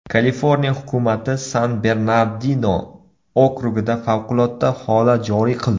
Kaliforniya hukumati San-Bernardino okrugida favqulodda holat joriy qildi.